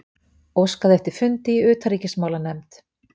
Óskað eftir fundi í utanríkismálanefnd